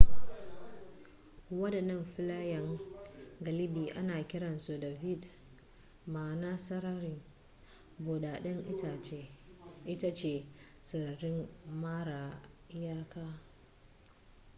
wadannan filayen galibi ana kiransu da vidde ma'ana sarari buɗaɗɗen itace sarari mara iyaka